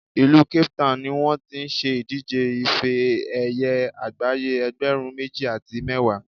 ìlú Cape Town ni wọ́n ti ṣe ìdíje ife ẹ̀yẹ àgbáyé ẹgbẹ̀rún méjì àti mẹ́wàá